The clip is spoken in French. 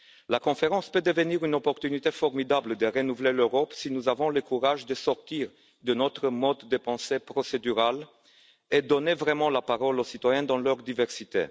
La conférence peut devenir une opportunité formidable de renouveler l'Europe si nous avons le courage de sortir de notre mode de pensée procédural et de donner vraiment la parole aux citoyens dans leur diversité.